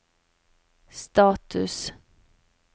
status